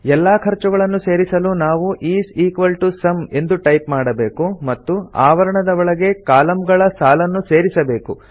ಎಲ್ಲಾ ಖರ್ಚುಗಳನ್ನು ಸೇರಿಸಲು ನಾವು ಇಸ್ ಇಕ್ವಾಲ್ ಟಿಒ ಸುಮ್ ಎಂದು ಟೈಪ್ ಮಾಡಬೇಕು ಮತ್ತು ಆವರಣದ ಒಳಗೆ ಕಾಲಂಗಳ ಸಾಲನ್ನು ಸೇರಿಸಬೇಕು